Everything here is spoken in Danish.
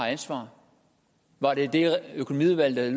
ansvaret var det det økonomiudvalg der